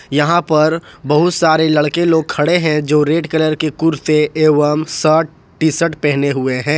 यहां पर बहुत सारे लड़के लोग खड़े हैं जो रेड कलर के कुर्ते एवं शर्ट टी शर्ट पहने हुए हैं।